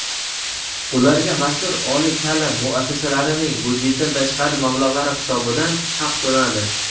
ularga — mazkur oliy taʼlim muassasalarning byudjetdan tashqari mablag‘lari hisobidan haq to‘lanadi.